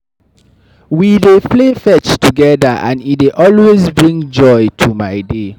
We dey play fetch together, and e dey always bring joy to my day.